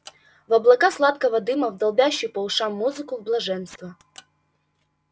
в облака сладкого дыма в долбящую по ушам музыку в блаженство